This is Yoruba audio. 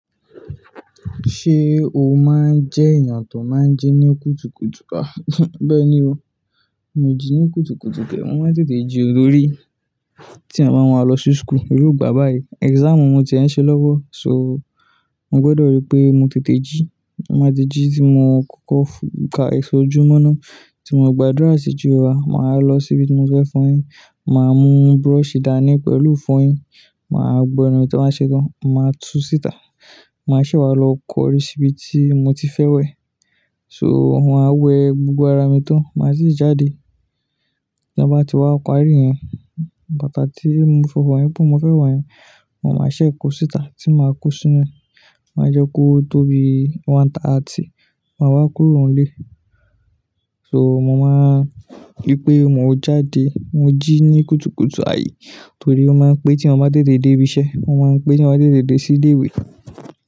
Ṣé o máa ń jẹ́ èèyàn tó máa ń jí ní kùtùkùtù? Bẹ́ẹ̀ ni o. Mi o jí ni kùtùkùtù ke? Mo máa n tètè jí o, torí ti èèyàn ba máa lọ si school, irú ìgbà báyìí exam mo ti e ṣe lọwọ so mo gbọdọ rí pé mo tètè jí. Mo máa ti jí tí mo kọ́kọ́ fún ká ese ojúmọ́ ná tí mo gba àdúrà sí Jehofa, màá lọ síbi tí mo fẹ́ fọyín, màá mú brush dáni pẹ̀lú ifọyín, màá gbọ ẹnu tí n bà ṣe tan, màá tú sítà, màá ṣe wà á lọ kọrí síbi tí mo ti fẹ́ wẹ̀. So mo máa wẹ gbogbo ara mi tán, màá sì jáde. Ta bá ti wá parí iyẹn, bàtà tí mo lọ̀ fọ̀ yẹn pé mo fẹ́ wo yẹn, mo máa ṣẹ̀ kó sítà tí màá kó sínú, màá jẹ́ kó tóbi, one thirty, màá wá kúrò n lé. So mo máa rí pé mo jáde, mo jí ní kùtùkùtù ài torí ó máa ń pé tí èèyàn bá tètè dé ibi iṣẹ́, ó máa ń pé tí èèyàn bá tètè dé sí ilé ìwé.